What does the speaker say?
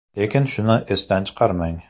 Lekin shuni esdan chiqarmang.